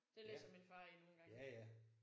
Det læser min far i nogle gange